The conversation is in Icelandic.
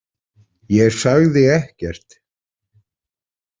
Ég sagði ekkert.